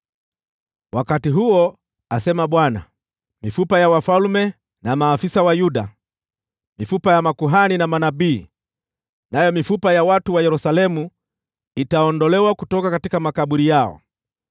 “ ‘Wakati huo, asema Bwana , mifupa ya wafalme na maafisa wa Yuda, mifupa ya makuhani na manabii, na mifupa ya watu wa Yerusalemu itaondolewa kutoka makaburi yao.